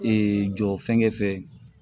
Ee jɔ fɛngɛ fɛ